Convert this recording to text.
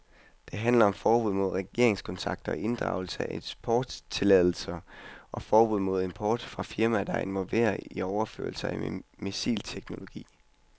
Det handler om forbud mod regeringskontakter, inddragelse af eksporttilladelser og forbud mod import fra firmaer, der er involveret i overførelser af missilteknologi.